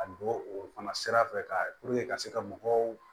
A don o fana sira fɛ ka ka se ka mɔgɔw